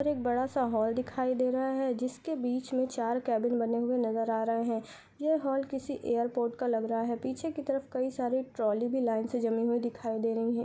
एक बड़ा सा हॉल दिखाई दे रहा है। जिसके बीच में चार केबिन बने हुए नजर आ रहे हैं। यह हॉल किसी एयरपोर्ट का लग रहा हैं। पीछे की तरफ कई सारी ट्रॉली भी लाइन से जमी हुई दिखाई दे रही हैं।